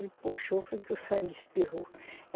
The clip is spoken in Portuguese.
Ele puxou, foi que o sangue espirrou.